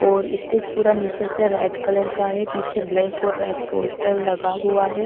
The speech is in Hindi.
और स्टेज पूरा नीचे से रेड कलर का है पीछे ब्लैक और रेड पोस्टर लगा हुआ है ।